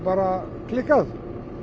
klikkað